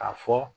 K'a fɔ